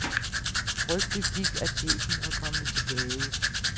Rygtet gik, at chefen var kommet tilbage.